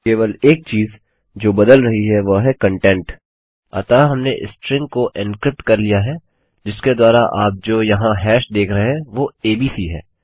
केवल एक चीज़ जो बदल रही है वह है कंटेंट अतः हमने स्ट्रिंग को एन्क्रिप्ट कर लिया है जिसके द्वारा आप जो यहाँ हैश देख रहे हैं वो एबीसी है